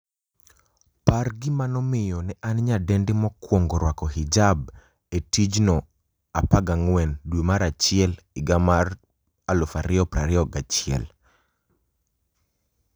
par gima nomiyo ne en nyadendi mokwongo rwako hijab e tijno14 dwe mar achiel higa mar 2021